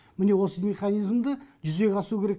міне осы механизмді жүзеге асыру керек